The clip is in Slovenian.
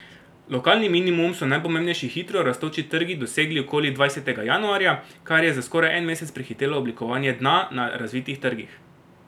Lokalni minimum so najpomembnejši hitrorastoči trgi dosegli okoli dvajsetega januarja, kar je za skoraj en mesec prehitelo oblikovanje dna na razvitih trgih.